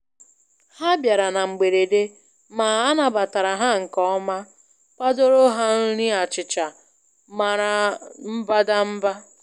Ha bịara na mgberede, ma anabatara ha nke ọma kwadoro ha nri achịcha mara mbadamba.